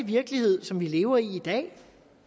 virkelighed som vi lever i i dag